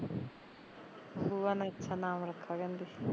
ਬੂਆ ਨੇ ਅੱਛਾ ਨਾਮ ਰੱਖਾ ਕਹਿੰਦੇ